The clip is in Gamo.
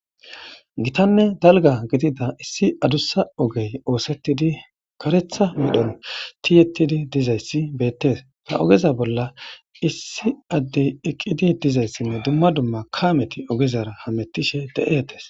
gitanne dalga gidida issi adussa ogey oosettidi karetha medhon tiyettidi dizayssi beettes ta ogeza bolla issi addey eqqidi dizayssinne dumma dumma kameti ogezara hamettishe de7ettes